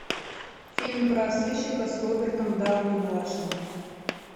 фильм про сыщика с робертом дауни младшим